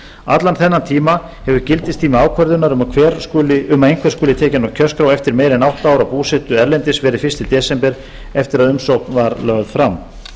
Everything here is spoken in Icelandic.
allan þennan tíma hefur gildistími ákvörðunar um að einhver skuli tekinn á kjörskrá eftir meira en átta ára búsetu erlendis verið fyrsta desember eftir að umsókn var lögð fram